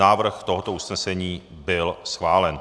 Návrh tohoto usnesení byl schválen.